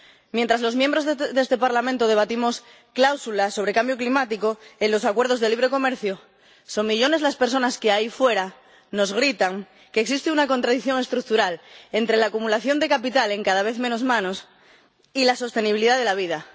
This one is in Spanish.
Mientras los diputados de este Parlamento debatimos cláusulas sobre cambio climático en los acuerdos de libre comercio, son millones las personas que ahí fuera nos gritan que existe una contradicción estructural entre la acumulación de capital en cada vez menos manos y la sostenibilidad de la vida.